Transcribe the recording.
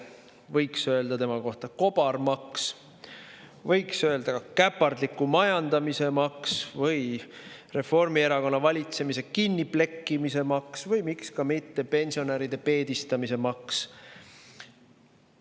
Võiks öelda tema kohta kobarmaks, võiks öelda käpardliku majandamise maks, Reformierakonna valitsemise kinniplekkimise maks või miks ka mitte pensionäride peedistamise maks.